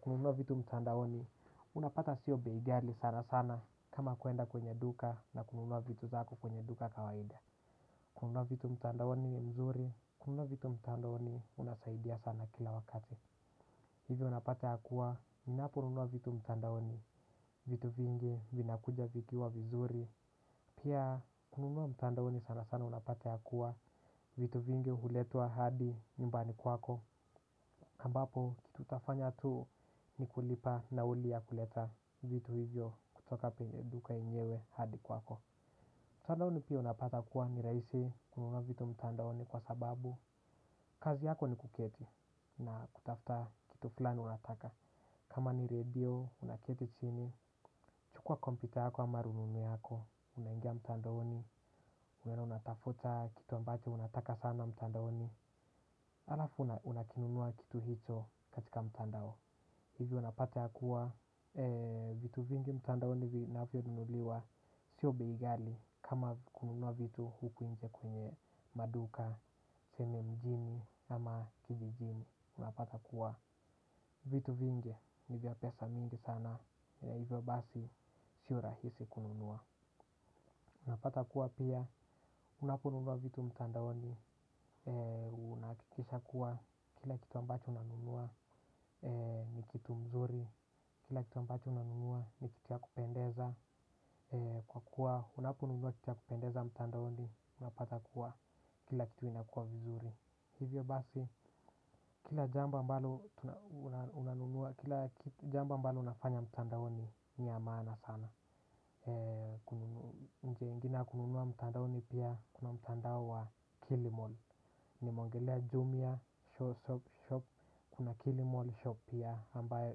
kununua vitu mtandaoni. Unapata sio bei ghali sana sana kama kwenda kwenye duka na kununua vitu zako kwenye duka kawaida. Kununua vitu mtandaoni ni mzuri, kununua vitu mtandaoni unasaidia sana kila wakati. Hivyo unapata kuwa ninapo nunua vitu mtandaoni, vitu vingi vinakuja vikiwa vizuri. Pia kununua mtandaoni sana sana unapata kuwa vitu vingi huletwa hadi nyumbani kwako ambapo, utafanya tu ni kulipa nauli ya kuleta vitu hivyo kutoka penye duka yenyewe hadi kwako. Mtandaoni pia unapata kuwa ni rahisi kununua vitu mtandaoni kwa sababu. Kazi yako ni kuketi na kutafta kitu fulani unataka. Kama ni radio, unaketi chini, chukua kompyuta yako ama rununu yako, unangia mtandaoni, unaenda unatafuta kitu ambache unataka sana mtandaoni, alafu unakinunua kitu hicho katika mtandao. Hivyo unapata kuwa vitu vingi mtandaoni vinavyo nunuliwa sio bei ghali kama kununua vitu huku nje kwenye maduka, tuseme mjini ama kijijini. Unapata kuwa vitu vingi nivya pesa mingi sana ya hivyo basi sio rahisi kununua. Unapata kuwa pia unaponunua vitu mtandaoni unahakikisha kuwa kila kitu ambacho unanunua nikitu mzuri. Kila kitu ambacho unanunua ni kitu ya kupendeza. Kwa kuwa unaponunua kitu ya kupendeza mtandaoni. Unapata kuwa kila kitu inakua vizuri. Hivyo basi kila jambo ambalo unanunua kila jambo ambalo unafanya mtandaoni ni ya maana sana. Kununua mtandaoni pia kuna mtandao wa kilimall. Nimeongelea jumia shop kuna kilimall shop pia ambayo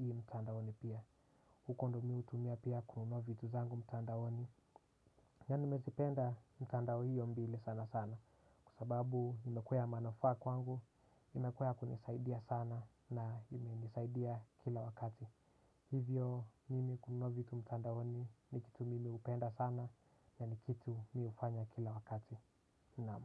i mtandaoni pia. Uko ndo mimi hutumia pia kununua vitu zangu mtandaoni. Na nimezipenda mitandao hiyo mbili sana sana kwa sababu imekuwa ya manufaa kwangu. Imekuwa ya kunisaidia sana na ime nisaidia kila wakati. Hivyo mimi kununua vitu mtandaoni ni kitu mimi hupenda sana. Na ni kitu mi hufanya kila wakati Naam.